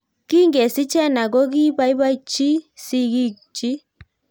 Kingesich Heena kokipaipachii sigik chiik